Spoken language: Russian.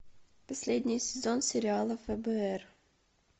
последний сезон сериала фбр